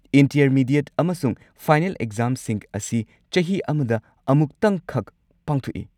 Intermediate ꯑꯃꯁꯨꯡ final ꯑꯦꯛꯖꯥꯝꯁꯤꯡ ꯑꯁꯤ ꯆꯍꯤ ꯑꯃꯗ ꯑꯃꯨꯛꯇꯪꯈꯛ ꯄꯥꯡꯊꯣꯛꯏ꯫